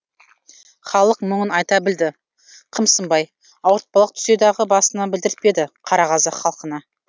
халық мұңын айта білді қымсынбай ауыртпалық түссе дағы басына білдіртпеді қара қазақ халқына